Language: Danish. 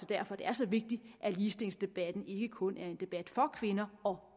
derfor det er så vigtigt at ligestillingsdebatten ikke kun er en debat for kvinder og